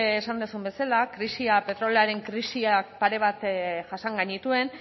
esan duzun bezala krisia petroleoaren krisi pare bat jasan genituen